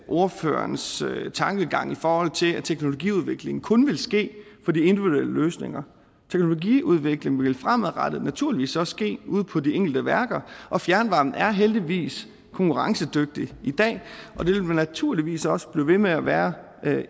ordførerens tankegang i forhold til at teknologiudviklingen kun vil ske for de individuelle løsninger teknologiudviklingen vil fremadrettet naturligvis også ske ude på de enkelte værker og fjernvarmen er heldigvis konkurrencedygtig i dag og det vil den naturligvis også blive ved med at være